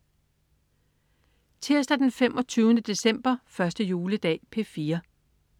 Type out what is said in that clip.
Tirsdag den 25. december. 1. juledag - P4: